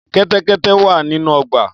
Kẹ́tẹ́kẹ́tẹ́ wà nínú ọgbà.